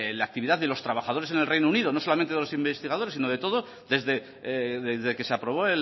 la actividad de los trabajadores en el reino unido no solamente de los investigadores sino de todos desde que se aprobó